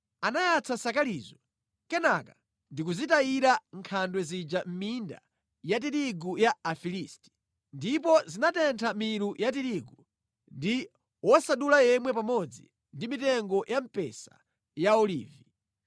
Anayatsa nsakalizo kenaka ndi kuzitayira nkhandwe zija mʼminda ya tirigu ya Afilisti, ndipo zinatentha milu ya tirigu, ndi wosadula yemwe pamodzi ndi mitengo ya mpesa ndi ya olivi.